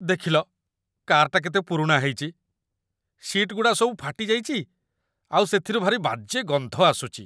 ଦେଖିଲ, କାର୍‌ଟା କେତେ ପୁରୁଣା ହେଇଚି । ସିଟ୍‌ଗୁଡ଼ା ସବୁ ଫାଟି ଯାଇଚି ଆଉ ସେଥିରୁ ଭାରି ବାଜେ ଗନ୍ଧ ଆସୁଚି ।